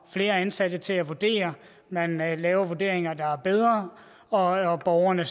flere ansatte til at vurdere man man laver vurderinger der er bedre og borgerne